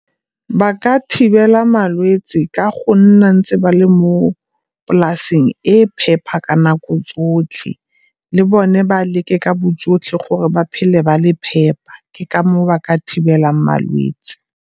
Ba ka thibela malwetsi ka go nna ntse ba le mo polasing e phepa ka nako tsotlhe. Le bone ba leke ka bojotlhe gore ba phele ba le phepa, ke ka moo ba ka thibelang malwetsi.